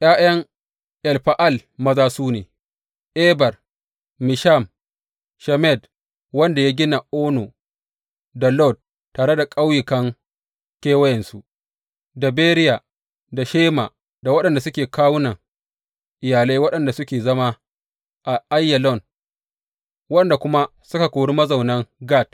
’Ya’yan Efa’al maza su ne, Eber, Misham, Shemed wanda ya gina Ono da Lod tare da ƙauyukan kewayensu, da Beriya da Shema, waɗanda suke kawunan iyalan waɗanda suke zama a Aiyalon waɗanda kuma suka kori mazaunan Gat.